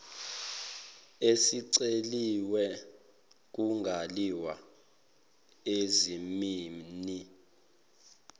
esiceliwe kungaliwa ezimeni